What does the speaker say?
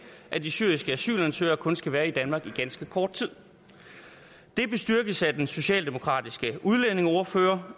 at de syriske asylansøgere kun skal være i danmark i ganske kort tid det bestyrkes af den socialdemokratiske udlændingeordfører